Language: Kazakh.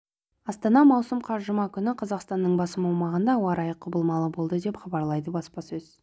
астана маусым қаз жұма күні қазақстанның басым аумағында ауа райы құбылмалы болады деп хабарлады баспасөз